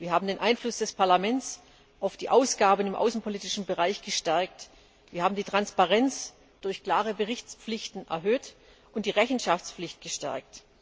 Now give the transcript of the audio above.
Wir haben den Einfluss des Parlaments auf die Ausgaben im außenpolitischen Bereich gestärkt, wir haben die Transparenz durch klare Berichtspflichten erhöht und die Rechenschaftspflicht gestärkt.